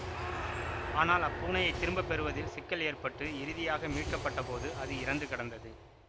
ஆனால் அப்பூனையைத் திரும்ப பெறுவதில் சிக்கல் ஏற்பட்டு இறுதியாக மீட்கப்பட்ட போது அது இறந்து கிடந்தது